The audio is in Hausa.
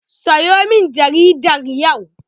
Sayo min jaridar yau!